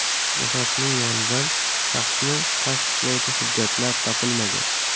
Jasadning yonidan shaxsni tasdiqlovchi hujjatlar topilmagan.